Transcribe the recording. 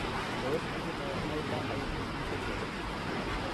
Tos ibunee Hyper IgD syndrome?